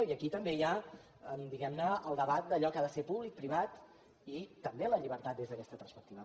i aquí també hi ha diguem ne el debat d’allò que ha de ser públic privat i també la llibertat des d’aquesta perspectiva